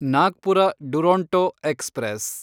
Nagpur Duronto express